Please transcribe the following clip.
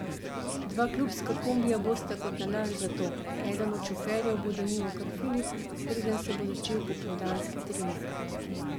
Dva klubska kombija bosta kot nalašč za to, eden od šoferjev bo denimo kar Filip, preden se bo začel popoldanski trening.